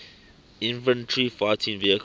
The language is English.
infantry fighting vehicles